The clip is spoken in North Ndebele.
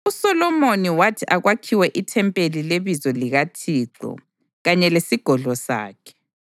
USolomoni wathi akwakhiwe ithempeli leBizo likaThixo kanye lesigodlo sakhe.